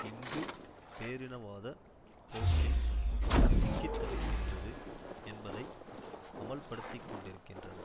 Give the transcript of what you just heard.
இந்து பேரினவாத போக்கில் சிக்கித்தவிக்கின்றது என்பதை அமல்படுத்திக்கொண்டிருக்கின்றன